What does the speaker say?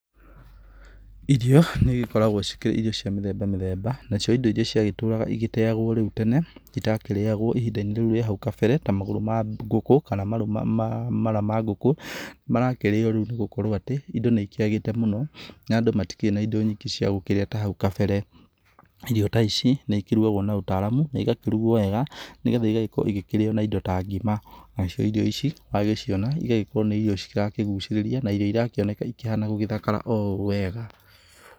Irio nĩikoragwo cikĩrĩ irio cia mĩtheba mĩtheba. Na cio ĩndo irĩa cia gĩtũraga igíteyagwo rĩu tene, itakĩrĩyagwo ĩhinda-inĩ rĩu ria hau kabere, ta magũrũ ma ngũkũ, kana mara ma ngũku, marakĩrĩyo rĩu nigũkorwo atĩ ĩndo nĩ ĩkĩagĩte mũno, na andũ matikĩrĩ na ĩndo ingĩ cia gũkĩrĩa ta hau kabere. Irio ta ici, nĩĩkĩrugagwo na ũtaramu na ĩgakĩrugwo wega, nĩgetha igakorwo ikĩrĩyo na ĩndo ta ngima. Nacio irio ici, wagĩciona, igagĩkorwo nĩ irio cirakĩgucĩrĩria, na irio irakĩoneka ikĩhana gũgĩthakara o wega.